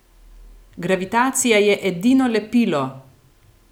Gravitacija je edino lepilo!